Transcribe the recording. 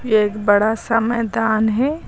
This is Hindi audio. एक बड़ा सा मैदान है।